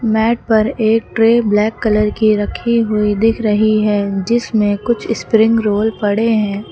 Mat पर एक tray black colour की रखी हुई दिख रही है जिसमें कुछ स्प्रिंग रोल पड़े हैं।